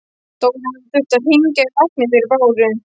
Dóra hafði þurft að hringja á lækni fyrir Báru.